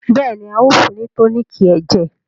béèni, a o fún ni toniiki ẹjẹ.